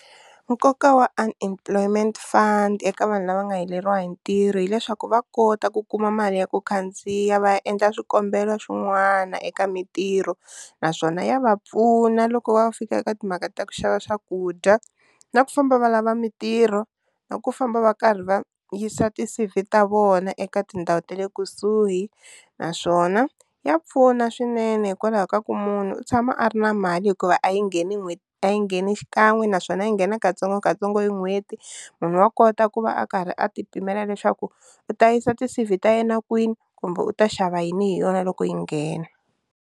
Nkoka wa unemployment fund eka vanhu lava nga heleriwa hi ntirho hileswaku va kota ku kuma mali ya ku khandziya va ya endla swikombelo swin'wana eka mintirho, naswona ya va pfuna loko va fika eka timhaka ta ku xava swakudya na ku famba va lava mintirho na ku famba va karhi va yisa ti-C_V ta vona eka tindhawu ta le kusuhi, naswona ya pfuna swinene hikwalaho ka ku munhu u tshama a ri na mali hikuva a yi ngheni n'hweti a yi ngheni xikan'we naswona yi nghena katsongokatsongo hi n'hweti, munhu wa kota ku va a karhi a ti pimela leswaku u ta yisa ti-C_V ta yena kwini kumbe u ta xava yini hi yona loko yi nghena.